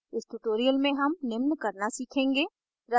इस tutorial में हम निम्न करना सीखेंगे